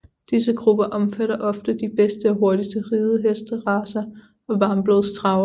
Disse grupper omfatter ofte de bedste og hurtigste ridehestracer og varmblodstravere